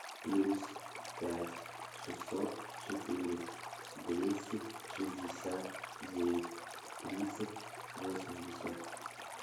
плюс пять шестьсот четыре двести шестьдесят девять тридцать восемьдесят